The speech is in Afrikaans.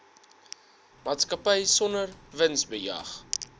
maatskappy sonder winsbejag